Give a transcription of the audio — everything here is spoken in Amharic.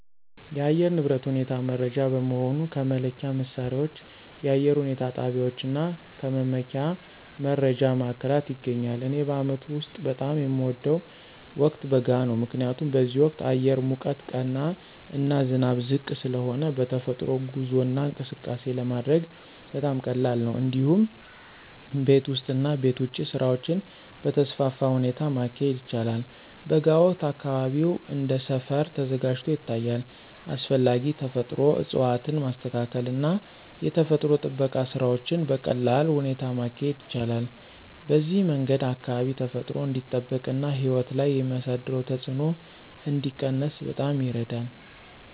የአየር ንብረት ሁኔታ መረጃ በመሆኑ ከመለኪያ መሣሪያዎች፣ የአየር ሁኔታ ጣቢያዎች እና ከመመኪያ መረጃ ማዕከላት ይገኛል። እኔ በአመቱ ውስጥ በጣም የሚወደው ወቅት በጋ ነው። ምክንያቱም በዚህ ወቅት አየር ሙቀት ቀና እና ዝናብ ዝቅ ስለሆነ በተፈጥሮ ጉዞ እና እንቅስቃሴ ለማድረግ በጣም ቀላል ነው። እንዲሁም ቤት ውስጥ እና ቤት ውጭ ስራዎችን በተስፋፋ ሁኔታ ማካሄድ ይቻላል። በጋ ወቅት አካባቢው እንደ ሰፈር ተዘጋጅቶ ይታያል፣ አስፈላጊ ተፈጥሮ እፅዋትን ማስተካከል እና የተፈጥሮ ጥበቃ ስራዎችን በቀላል ሁኔታ ማካሄድ ይቻላል። በዚህ መንገድ አካባቢ ተፈጥሮ እንዲጠበቅ እና ሕይወት ላይ የሚያሳደረው ተጽዕኖ እንዲቀነስ በጣም ይረዳል።